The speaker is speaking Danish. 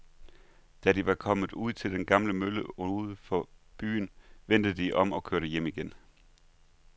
Da de var kommet ud til den gamle mølle uden for byen, vendte de om og kørte hjem igen.